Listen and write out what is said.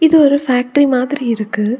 இது ஒரு ஃபேக்டரி மாதிரி இருக்கு.